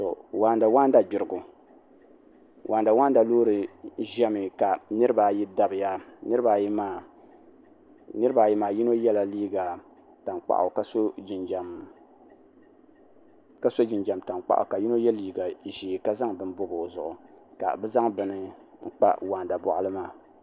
waanda waanda gbiriba waanda waanda loori ʒɛmi ka niraba ayi dabiya niraba ayi maa yino yɛla liiga tankpaɣu ka so jinjɛm tankpaɣu ka yino yɛ liiga ʒiɛ ka zaŋ bini bobi o zuɣu ka bi zaŋ n kpa waanda boɣali maa